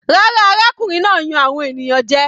Rárá, arákùnrin náà ń yan àwọn ènìyàn jẹ.